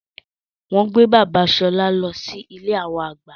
Wọn gbé bàbà Ṣọlá lọ sí ilé awọn àgbà